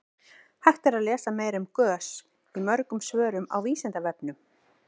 hægt er að lesa meira um gös í mörgum svörum á vísindavefnum